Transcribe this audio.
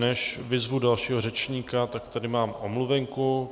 Než vyzvu dalšího řečníka, tak tady mám omluvenku.